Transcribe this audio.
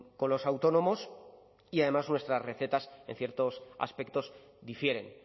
con los autónomos y además nuestras recetas en ciertos aspectos difieren